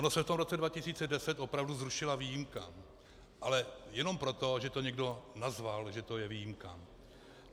Ona se v tom roce 2010 opravdu zrušila výjimka, ale jenom proto, že to někdo nazval, že to je výjimka.